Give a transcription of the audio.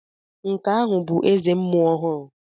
Nke ahụ ọ̀ bụ eze mmuo ọhụrụ?